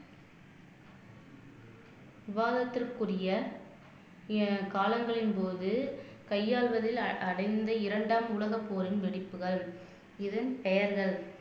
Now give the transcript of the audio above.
விவாதத்திற்குரிய அஹ் காலங்களின் போது கையாளுவதில் அடைந்த இரண்டாம் உலகப்போரின் வெடிப்புகள் இதன் பெயர்கள்